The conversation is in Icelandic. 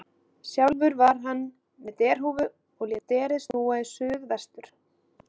Sjálfur var hann með derhúfu og lét derið snúa í suð vestur.